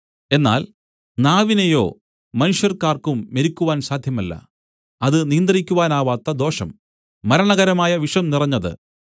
എന്നാൽ നാവിനെയോ മനുഷ്യർക്കാർക്കും മെരുക്കുവാൻ സാധ്യമല്ല അത് നിയന്ത്രിക്കുവാനാവാത്ത ദോഷം മരണകരമായ വിഷം നിറഞ്ഞത്